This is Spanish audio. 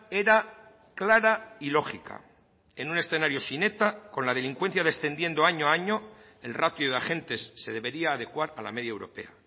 era clara y lógica en un escenario sin eta con la delincuencia descendiendo año a año el ratio de agentes se debería adecuar a la media europea